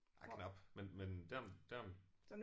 Ja knap men men derom derom